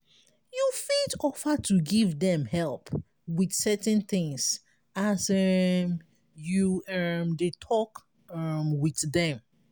you fit offer to give them help with certain things as um you um dey talk um with them